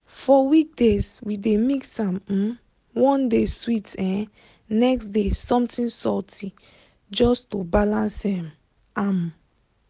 for weekdays we dey mix am um one day sweet um next day something salty just to balance um am.